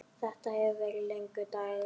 Þetta hefur verið langur dagur.